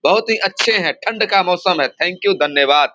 बहुत ही अच्छे हैं ठंड का मौसम है थैंक यू धन्यवाद।